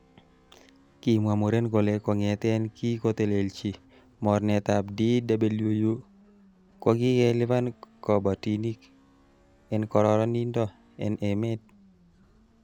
Kimwa muren kole kongeten kin kotelelchi mornetab DWU, kokikelipan kiboitinik en kororonindo en emet.